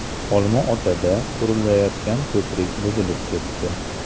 Olma-Otada qurilayotgan ko‘prik buzilib ketdi.